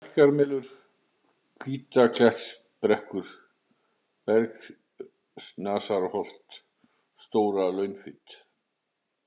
Bjarkarmelur, Hvítaklettsbrekkur, Bergssnasarholt, Stóra-Launfit